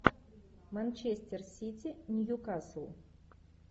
манчестер сити ньюкасл